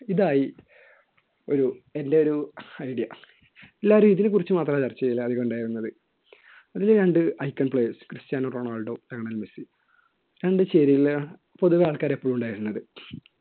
ഇതായി ഒരു എൻറെ ഒരു idea എല്ലാരും ഇതിനെക്കുറിച്ച് മാത്രമായി ചർച്ച ചെയ്യൽ ഉണ്ടായിരുന്നത് അതിലെ രണ്ട് item players Cristiano Ronaldo Lionel Messi രണ്ടു ചേരികളില് പൊതുവെ ആൾക്കാർ എപ്പോഴും ഉണ്ടായിരുന്നത്